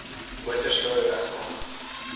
motors wou regmaak